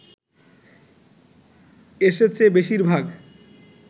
এসেছে বেশিরভাগ